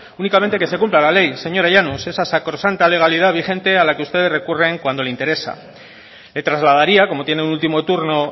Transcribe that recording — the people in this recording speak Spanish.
únicamente que se cumpla la ley señora llanos esa sacrosanta legalidad vigente a la que ustedes recurren cuando le interesa le trasladaría como tiene el último turno